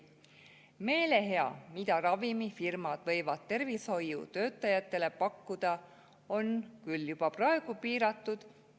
Meelehea, mida ravimifirmad võivad tervishoiutöötajatele pakkuda, on küll juba praegu piiratud.